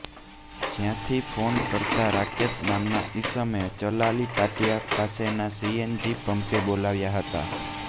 જયાંથી phone કરતાં રાકેશ નામના ઈસમે ચલાલી પાટીયા પાસેના સીએનજી પંપે બોલાવ્યા હતાં